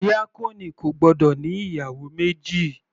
Díákónì kò gbọ́dọ̀ ní ìyàwó méjì.